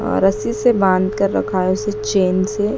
अ रस्सी से बांध कर रखा है उसे चेन से--